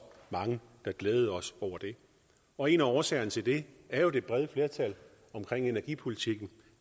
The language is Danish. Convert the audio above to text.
mange der glædede os over det og en af årsagerne til det er jo det brede flertal bag energipolitikken